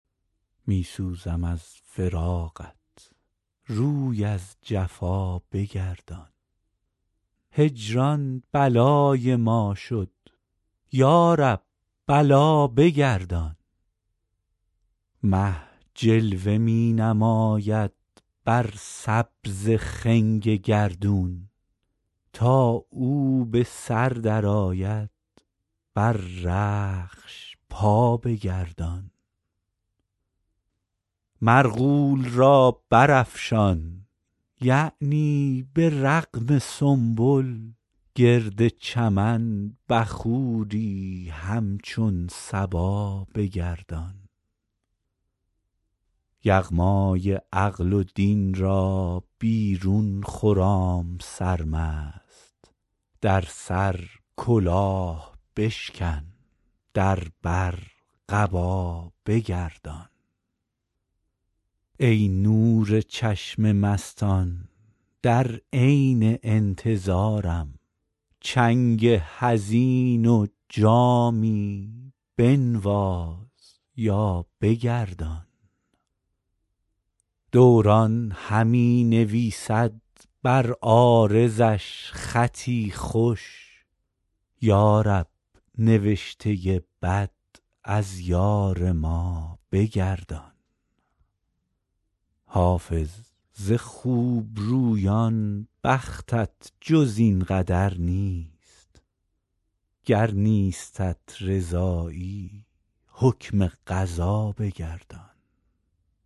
می سوزم از فراقت روی از جفا بگردان هجران بلای ما شد یا رب بلا بگردان مه جلوه می نماید بر سبز خنگ گردون تا او به سر درآید بر رخش پا بگردان مرغول را برافشان یعنی به رغم سنبل گرد چمن بخوری همچون صبا بگردان یغمای عقل و دین را بیرون خرام سرمست در سر کلاه بشکن در بر قبا بگردان ای نور چشم مستان در عین انتظارم چنگ حزین و جامی بنواز یا بگردان دوران همی نویسد بر عارضش خطی خوش یا رب نوشته بد از یار ما بگردان حافظ ز خوبرویان بختت جز این قدر نیست گر نیستت رضایی حکم قضا بگردان